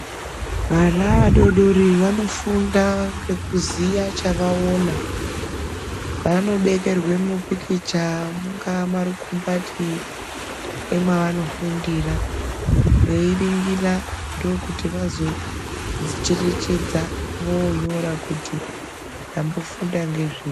Vana vadoodori vanofunda ngekuziya chavaona. Vanobekerwe mupikicha mungaa mumarukumbati emwavanofundira, veiringira. Ndookuti vazocherechedza voonyora kuti tambofunda ngezvei.